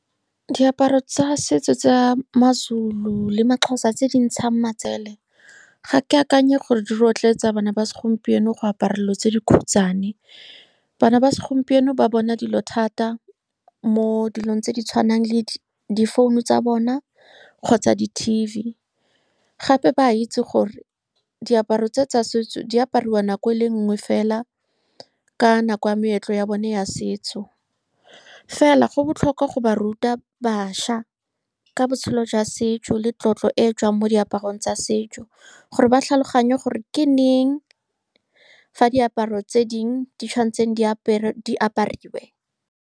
Diaparo tsa setso tsa maZulu le maXhosa tse di ntshang matsele, ga ke akanye gore di rotloetsa bana ba segompieno go apara dilo tse di khutshwane. Bana ba segompieno ba bona dilo thata mo dilong tse di tshwanang le difounu tsa bona kgotsa di-T_V. Gape ba itse gore diaparo tse tsa setso di apariwa nako e le nngwe fela, ka nako ya meetlo ya bone ya setso. Fela, go botlhokwa go ba ruta bašwa ka botshelo jwa setso le tlotlo e e tswang mo diaparong tsa setso, gore ba tlhaloganye gore ke leng fa diaparo tse dingwe di tshwanetse di di apariwe.